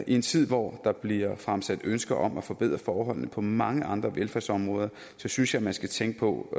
i en tid hvor der bliver fremsat ønsker om at forbedre forholdene på mange andre velfærdsområder synes jeg man skal tænke på